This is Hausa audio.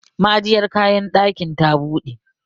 ma'ajiyar kayan dakin ta bude